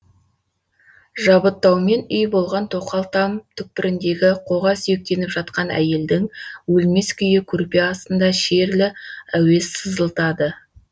жабыттаумен үй болған тоқал там түкпіріндегі қоға сүйектеніп жатқан әйелдің өлмес күйі көрпе астында шерлі әуез сызылтады